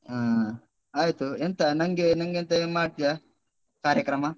ಹಾ ಆಯ್ತು. ಎಂತ ನಂಗೆ ನಂಗೆ ಎಂತಾದ್ರೂ ಮಾಡ್ತಿಯಾ, ಕಾರ್ಯಕ್ರಮ?